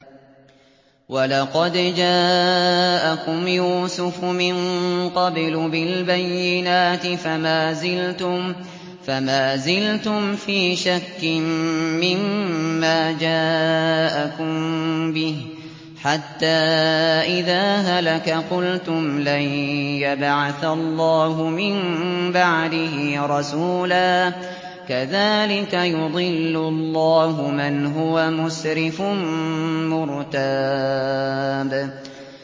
وَلَقَدْ جَاءَكُمْ يُوسُفُ مِن قَبْلُ بِالْبَيِّنَاتِ فَمَا زِلْتُمْ فِي شَكٍّ مِّمَّا جَاءَكُم بِهِ ۖ حَتَّىٰ إِذَا هَلَكَ قُلْتُمْ لَن يَبْعَثَ اللَّهُ مِن بَعْدِهِ رَسُولًا ۚ كَذَٰلِكَ يُضِلُّ اللَّهُ مَنْ هُوَ مُسْرِفٌ مُّرْتَابٌ